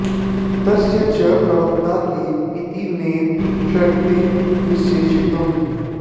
तस्य च प्रवक्ता के इति नैव शक्यते निश्चेतुम्